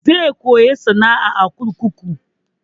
Zai koya sana'a a kurkuku.